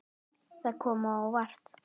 Það kom á óvart.